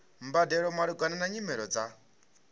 mbadelo malugana na nyimele dza